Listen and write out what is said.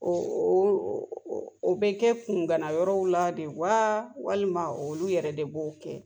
o bɛ kɛ kungana yɔrɔw la de wa, walima olu yɛrɛ de b'o kɛ ?